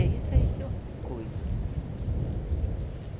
E é isso aí que eu cuido.